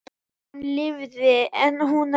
Hann lifði en hún ekki.